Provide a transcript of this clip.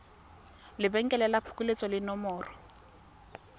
lebenkele la phokoletso le nomoro